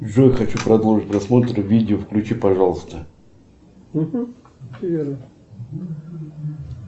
джой хочу продолжить просмотр видео включи пожалуйста